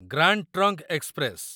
grand trunk express